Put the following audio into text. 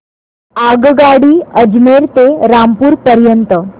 आगगाडी अजमेर ते रामपूर पर्यंत